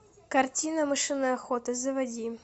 картина мышиная охота заводи